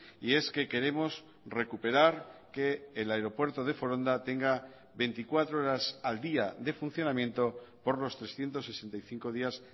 y es que queremos recuperar que el aeropuerto de foronda tenga veinticuatro horas al día de funcionamiento por los trescientos sesenta y cinco días